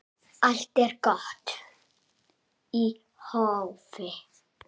Allt er gott í hófi.